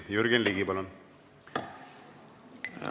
Jürgen Ligi, palun!